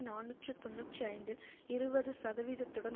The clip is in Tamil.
நாநூற்று தொன்னூற்றி ஐந்தில் இருபது சதவீதத்துடன்